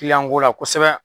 ko la kosɛbɛ.